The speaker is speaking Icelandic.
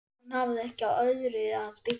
Hún hafði ekki á öðru að byggja.